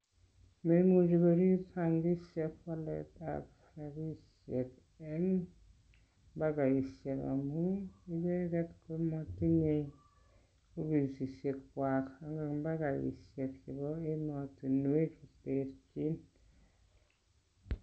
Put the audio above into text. Moimuchi korip bankishek waletab rabishek en mpakaishek amun icheget komotinye ofisishek kwag en mpakaishek chebo emotinwek che terchin.